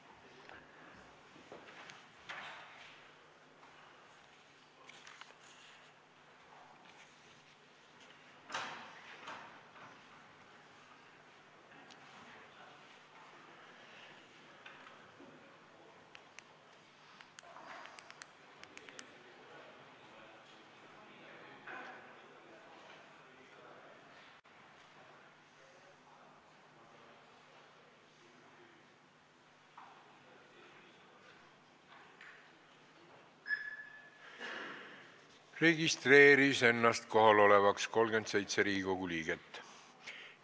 Kohaloleku kontroll Ennast registreeris kohalolevaks 37 Riigikogu liiget.